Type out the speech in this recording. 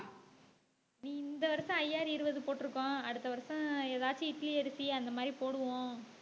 நீ இந்த வருஷம் IR இருபது போட்டு இருக்கோம். அடுத்த வருஷம் ஏதாச்சு இட்லி அரிசி அந்த மாதிரி போடுவோம்.